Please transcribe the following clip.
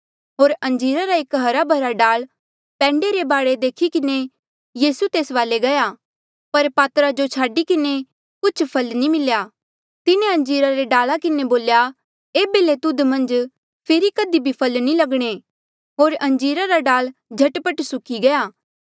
होर अंजीरा रा एक हरा भरा डाल पैंडे रे बाढे देखी किन्हें यीसू तेस वाले गया पर पातरा जो छाडी किन्हें कुछ फल नी मिल्या तिन्हें अंजीरा रे डाला किन्हें बोल्या एेबे ले तुध मन्झ फेरी कधी फल नी लगणे होर अंजीरा रा डाल झट पट सुक्की गया